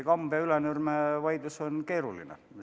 Kambja ja Ülenurme vaidlus on keeruline.